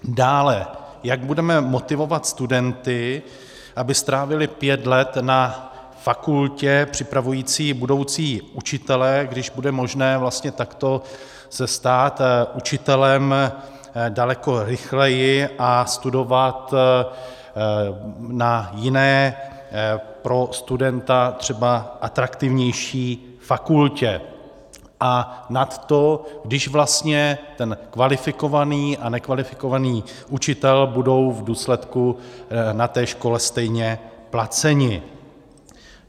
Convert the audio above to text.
Dále, jak budeme motivovat studenty, aby strávili pět let na fakultě připravující budoucí učitele, když bude možné vlastně takto se stát učitelem daleko rychleji a studovat na jiné, pro studenta třeba atraktivnější fakultě, a nad to, když vlastně ten kvalifikovaný a nekvalifikovaný učitel budou v důsledku na té škole stejně placeni?